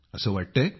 असं वाटतंय